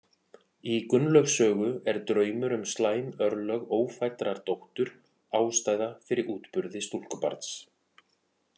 Í Gunnlaugs sögu er draumur um slæm örlög ófæddrar dóttur ástæða fyrir útburði stúlkubarns.